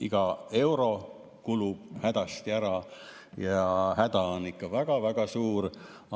Iga euro kulub hädasti ära ja häda on ikka väga-väga suur.